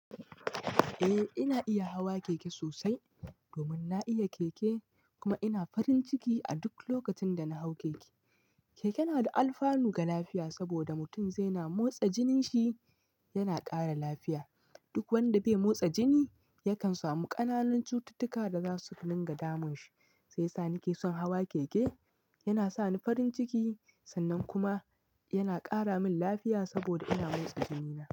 Eh ina iya hawa keke sosai domin na iya keke kuma ina farin ciki a duk lokacin da na hau keke. Keke na da alfanu ga lafiya saboda mutum zai na motsa jininsi yana ƙara lafiya. Duk wanda bai motsa jini yakan samu ƙananun cututtuka da za su dinga damun shi. Shi yasa ni ke son hawa keke, yana sa ni farin ciki sannan kuma yana ƙara min lafiya saboda ina motsa jinina.